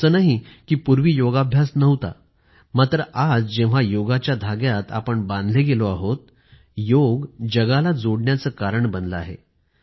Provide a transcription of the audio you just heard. असं नाही कि पूर्वी योगाभ्यास नव्हता मात्र आज जेव्हा योगच्या धाग्यात बांधले गेले आहोत योग जगाला जोडण्याचं कारण बनला आहे